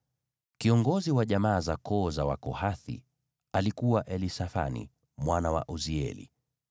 Kiongozi wa jamaa za koo za Wakohathi alikuwa Elisafani mwana wa Uzieli.